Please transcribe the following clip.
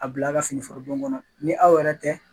A bila ka fini foro bon kɔnɔ ni aw yɛrɛ tɛ